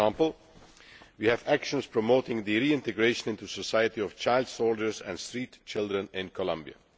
For example, we have actions promoting the reintegration into society of child soldiers and street children in Colombia.